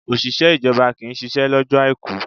Òṣìṣẹ́ ìjọba kì ń ṣisẹ́ lọ́jọ́ Àìkú.